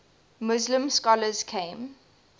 muslim scholars came